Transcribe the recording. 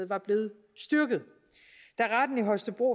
var blevet styrket da retten i holstebro